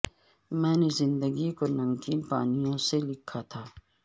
میں نے زندگی کو نمکین پا نیوں سے لکھا تھا